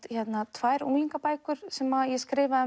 tvær unglingabækur sem ég skrifaði